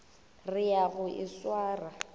re ya go e swara